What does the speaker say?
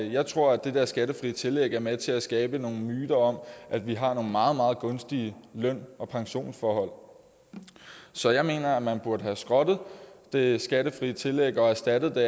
jeg tror at det skattefri tillæg er med til at skabe nogle myter om at vi har nogle meget meget gunstige løn og pensionsforhold så jeg mener at man burde have skrottet det skattefri tillæg og erstattet